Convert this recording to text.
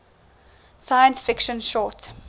science fiction short